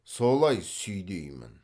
солай сүйдеймін